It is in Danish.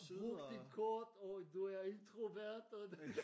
Brugt et kort og du er introvert og